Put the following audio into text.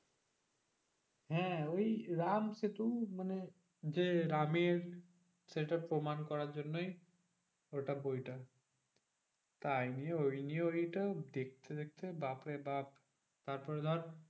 হ্যাঁ ওই রামসেতু মানে যে রামের সেটা প্রমান করার জন্যই ওটা বইটা। তাই নিয়ে ওই নিয়ে ওইটা দেখতে দেখতে বাপ্ রে বাপ্ তারপরে ধর